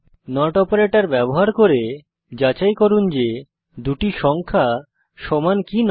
not operator ব্যবহার করে যাচাই করুন যে দুটি সংখ্যা সমান কি নয়